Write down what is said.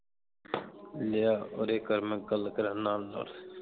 ਲਿਆ ਉਰੇ ਕਰ ਮੈਂ ਗੱਲ ਕਰਾਂ ਨਾਲ ਨਾਲ